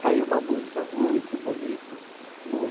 saiu uma música muito bonito,